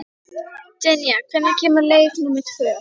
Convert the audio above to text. Dynja, hvenær kemur leið númer tvö?